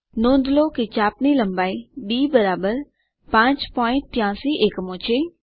નોંધ લો કે ચાપ ની લંબાઈ ડી 583 એકમો છે